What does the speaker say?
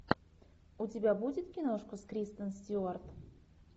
у тебя будет киношка с кристен стюарт